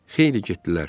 Xeyli getdilər.